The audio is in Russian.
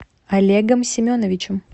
олегом семеновичем